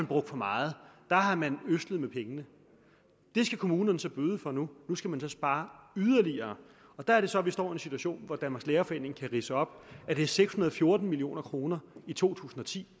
brugt for meget der har man ødslet med pengene det skal kommunerne så bøde for nu nu skal man så spare yderligere der er det så at vi står i en situation hvor danmarks lærerforening kan ridse op at det er seks hundrede og fjorten million kroner i to tusind og ti